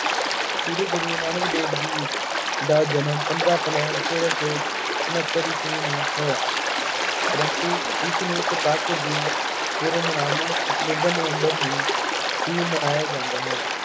ਸ਼੍ਰੀ ਗੁਰੂ ਨਾਨਕ ਦੇਵ ਜੀ ਦਾ ਜਨਮ ਪੰਦਰਾਂ ਅਪ੍ਰੈਲ ਚੋਦਾ ਸੌ ਉਨੱਤਰ ਈਸਵੀ ਨੂੰ ਹੋਇਆ। ਪਰੰਤੂ ਇਸਨੂੰ ਕੱਤਕ ਦੀ ਪੂਰਨਮਾਸੀ ਅਕਤੂਬਰ ਨਵੰਬਰ ਨੂੰ ਹੀ ਮਨਾਇਆ ਜਾਂਦਾ ਹੈ।